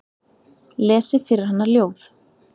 Lesi fyrir hana ljóð.